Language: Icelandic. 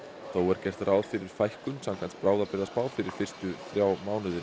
þó er gert ráð fyrir fækkun samkvæmt fyrir fyrstu þrjá mánuði